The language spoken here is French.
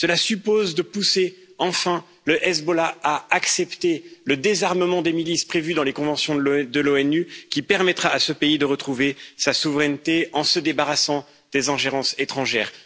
Cela suppose de pousser enfin le Hezbollah à accepter le désarmement des milices prévu dans les conventions de l'ONU, qui permettra à ce pays de retrouver sa souveraineté en se débarrassant des ingérences étrangères.